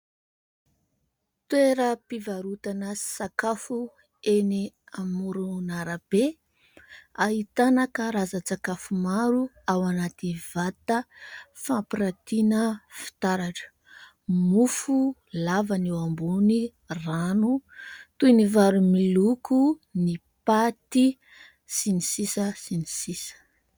Toeram-pivarotana sakafo eny amoron'arabe ahitana karazan-tsakafo maro ao anaty vata fampiratiana fitaratra ; mofo lava no eo ambony rano toy ny vary miloko, ny paty sy ny sisa sy ny sisa.